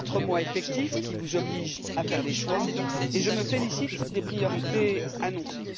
Quatre mois effectifs qui vous obligent à faire des choix et je me félicite des priorités annoncées.